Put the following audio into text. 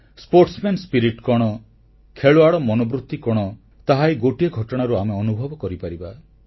sportsman Spiritକଣ ଖେଳୁଆଡ଼ ମନୋବୃତି କଣ ତାହା ଏହି ଗୋଟିଏ ଘଟଣାରୁ ଆମେ ଅନୁଭବ କରିପାରିବା